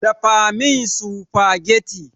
Dafa min sufagetti